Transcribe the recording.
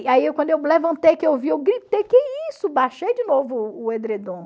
E aí quando eu levantei que eu vi, eu gritei, que isso, baixei de novo o edredom.